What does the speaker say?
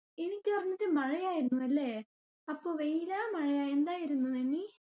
പറിഞ്ഞിട്ട് മഴയായിരുന്നു അല്ലെ? അപ്പൊ വെയില മഴയാ, എന്തായിരുന്നു നിന്നി?